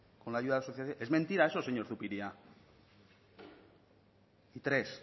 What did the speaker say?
con la ayuda de la sociedad civil es mentira eso señor zupiria tres